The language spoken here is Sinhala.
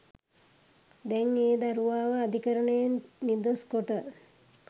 දැන් ඒ දරුවාව අධිකරණයෙන් නිදොස්‌ කොට